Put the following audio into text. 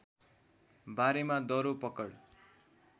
बारेमा दरो पकड